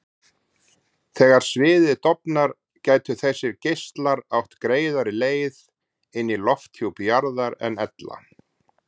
Þegar sviðið dofnar gætu þessir geislar átt greiðari leið inn í lofthjúp jarðar en ella.